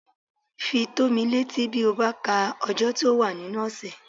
Fi tó mí létí bí ó bá ka ọjọ́ tí ó wà nínú ọ̀sẹ̀